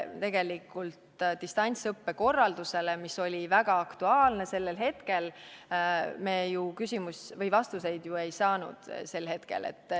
Tegelikult, distantsõppe korralduse kohta, mis oli väga aktuaalne, me ju vastuseid sel hetkel ei saanud.